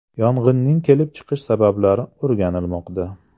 Yong‘inning kelib chiqish sabablari o‘rganilmoqda.